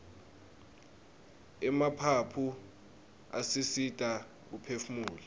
emaphaphu asisita kuphefumula